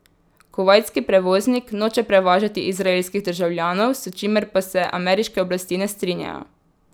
Kuvajtski prevoznik noče prevažati izraelskih državljanov, s čimer pa se ameriške oblasti ne strinjajo.